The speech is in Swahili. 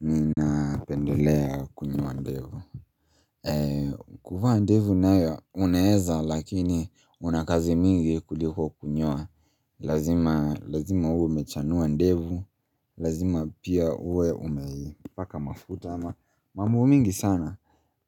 Ninapendelea kunyoa ndevu kuvaa ndevu nayo unaeza lakini unakazi mingi kuliko kunyoa lazima Lazima uwe mechanua ndevu, lazima pia uwe umeipaka mafuta ama mambo mingi sana